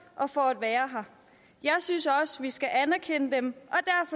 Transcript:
og for at være her jeg synes også vi skal anerkende dem